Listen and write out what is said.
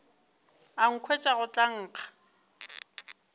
a nkhwetša go tla nkga